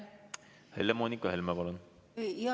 Helle-Moonika Helme, palun!